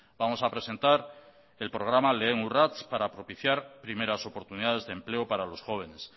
vamos a presentar el programa lehen urrats para propiciar primeras oportunidades de empleo para los jóvenes